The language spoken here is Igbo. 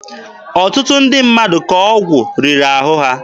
Ọtụtụ ndị mmadụ ka ọgwụ riri ahụ.